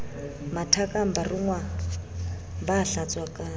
mathakang ba rongwa ba hlatswakang